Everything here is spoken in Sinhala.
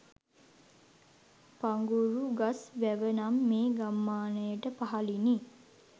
පඟුරුගස් වැව නම් මේ ගම්මානයට පහළිනි.